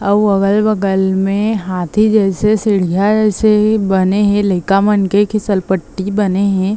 आऊ अगल - बगल में हाथी जैसे सीढियाँ से बने हे लइका मन के घीसल पट्टी बने हे।